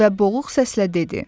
Və boğuq səslə dedi.